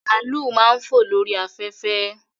Bàálù máa ń fò lórí afẹ́fẹ́